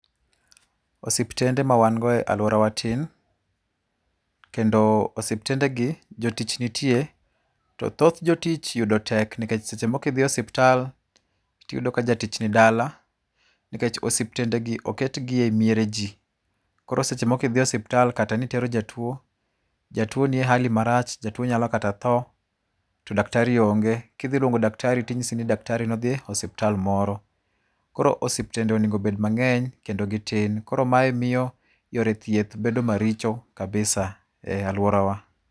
Osiptende ma wan go e aluorawa tin, kendo osiptendegi jotich nitie to thoth jotich yudo tek nikech seche moko idhi osiptal to iyudo ka jatich nidala nikech osiptendegi oketgi e miere ji. Koro seche moko kidhi osiptal, seche moko nitero jatuo, jatuo ni e hali marach, jatuo nyalo kata tho, to daktari onge. Kidhi luongo daktari tinyisi ni daktari nodhi e osiptal moro. Koro osiptende onego obed mang'eny kendo gitin. Koro mae miyo yore thieth bedo maricho kabisa e aluorawa